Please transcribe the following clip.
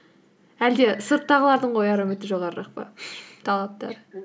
әлде сырттағылардың қояр үміті жоғарырақ па талаптары